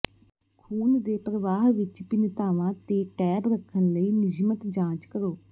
ਖੂਨ ਦੇ ਪ੍ਰਵਾਹ ਵਿੱਚ ਭਿੰਨਤਾਵਾਂ ਤੇ ਟੈਬ ਰੱਖਣ ਲਈ ਨਿਯਮਤ ਜਾਂਚ ਕਰੋ